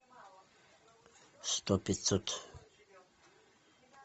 сто пятьсот